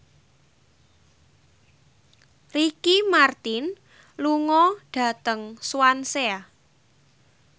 Ricky Martin lunga dhateng Swansea